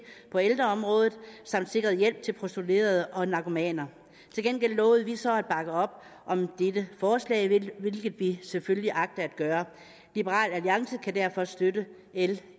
på ældreområdet samt sikret hjælp til prostituerede og narkomaner til gengæld lovede vi så at bakke op om dette forslag hvilket vi selvfølgelig agter at gøre liberal alliance kan derfor støtte l